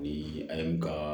Ni a ye n ka